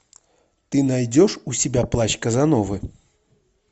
ты найдешь у себя плащ казановы